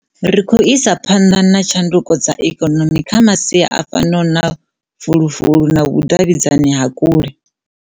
Ri khou isa phanḓa na tshanduko dza ikonomi kha masia a fanaho na fulufulu na vhudavhidzani ha kule.